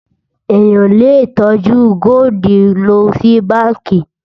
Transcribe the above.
èyán lè tọjú goldi ló ṣì bánkì